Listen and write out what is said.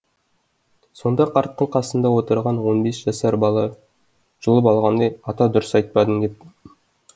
сонда қарттың қасында отырған он бес жасар бала жұлып алғандай ата дұрыс айтпадың депті